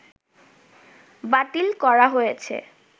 বাতিল করা হয়েছে